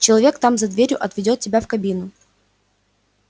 человек там за дверью отведёт тебя в кабину